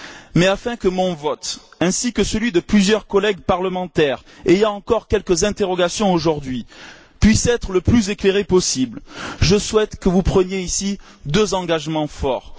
Mais afin que mon vote, ainsi que celui de plusieurs collègues parlementaires ayant encore quelques interrogations aujourd'hui, puisse être le plus éclairé possible, je souhaite que vous preniez ici deux engagements forts.